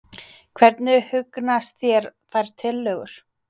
Hvernig hugnast þér þær tillögur?